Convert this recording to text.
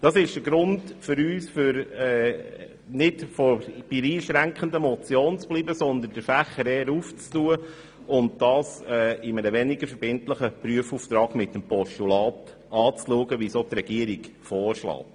Das ist für uns der Grund, nicht bei der einschränkenden Motion zu bleiben, sondern den Fächer eher zu öffnen und das Anliegen in einem weniger verbindlichen Prüfauftrag als Postulat zu überweisen.